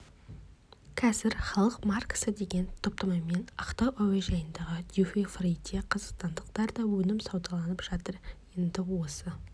қазір халық маркасы деген топтамамен ақтау әуежайындағы дюти-фриде қазақстандық тарта өнім саудаланып жатыр енді осы